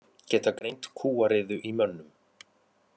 Geta greint kúariðu í mönnum